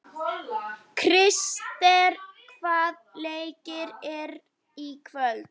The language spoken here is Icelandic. Krister, hvaða leikir eru í kvöld?